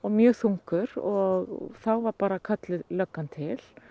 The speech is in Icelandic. mjög þungur og þá var bara kölluð löggan til